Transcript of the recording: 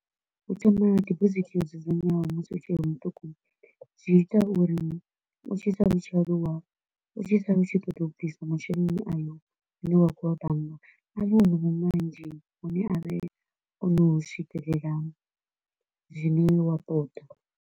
U thoma debosit yo dzudzanywaho musi u tshe muṱuku, zwi ita uri u tshi sala u tshi aluwa u tshi sala u tshi ṱoḓa u bvisa masheleni ayo a ne wa kho u wa bannga, a vha o no vha manzhi hune a re o no swikelela zwine iwe wa ṱoḓa.